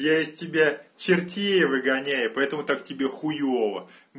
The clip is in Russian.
я из тебя чертей выгоняю поэтому так тебе хуёва